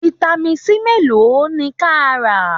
Vitamin C mélòó ni ka rà?